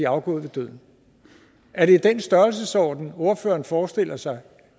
afgået ved døden er det i den størrelsesorden ordføreren forestiller sig